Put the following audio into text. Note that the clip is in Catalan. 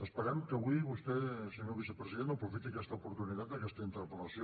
esperem que avui vostè senyor vicepresident aprofiti aquesta oportunitat d’aquesta interpel·lació